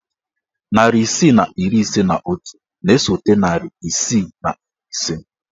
Narị isii na iri ise na otu na-esote narị isii na iri ise.